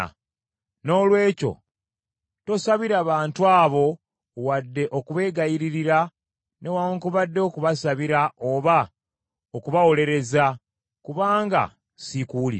“Noolwekyo tosabira bantu abo wadde okubegayiririra newaakubadde okubasabira oba okubawolereza, kubanga siikuwulire.